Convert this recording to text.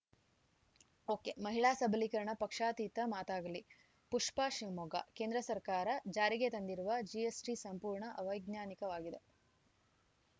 ಒಕೆಮಹಿಳಾ ಸಬಲೀಕರಣ ಪಕ್ಷಾತೀತ ಮಾತಾಗಲಿ ಪುಷ್ಪಾ ಶಿವಮೊಗ್ಗ ಕೇಂದ್ರ ಸರ್ಕಾರ ಜಾರಿಗೆ ತಂದಿರುವ ಜಿಎಸ್‌ಟಿ ಸಂಪೂರ್ಣ ಅವೈಜ್ಞಾನಿಕವಾಗಿದೆ